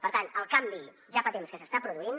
per tant el canvi ja fa temps que s’està produint